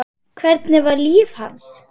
Hvernig var líf hans?